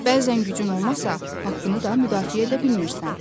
Bəzən gücün olmasa, haqqını da müdafiə edə bilmirsən.